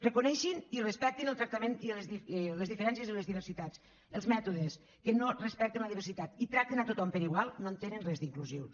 reconeguin i respectin el tractament i les diferències i les diversitats els mètodes que no respecten la diversitat i tracten tothom per igual no en tenen res d’inclusius